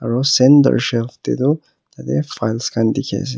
Aro center shelf dae tuh ete files khan dekhe ase.